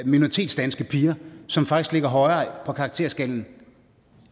minoritetsdanske piger som faktisk ligger højere på karakterskalaen